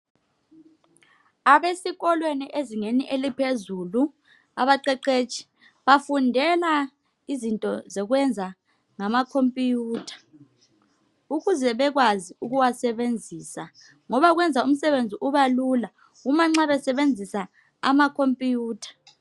Abesikolweni ezingeni eliphezulu, abaqeqetshi bafundela izinto zokwenza ngamakompuyutha. ukuze bekwazi ukuwasebenzisa ngoba kwenza umsebenzi ubalula uma nxa besebenzisa amakompuyutha